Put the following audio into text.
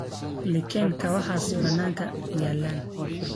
Iiken kawaxas bananka yaalan.